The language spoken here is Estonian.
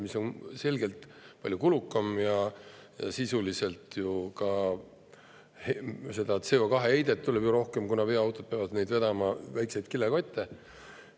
See on selgelt palju kulukam ja sisuliselt tuleb nii ka CO2-heidet rohkem, kuna veoautod peavad vedama väikseid kilekotte.